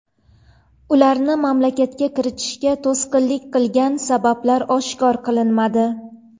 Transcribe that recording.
Ularni mamlakatga kiritishga to‘sqinlik qilgan sabablar oshkor qilinmadi.